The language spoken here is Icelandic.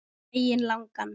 Daginn langan.